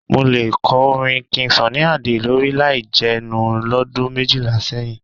Mo lè kọ orin King Sunny Adé lórí láì jẹnu lọ́dún méjìlá sẹ́yìn.